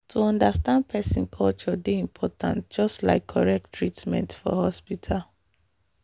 to understand person culture dey important just like correct treatment for hospital.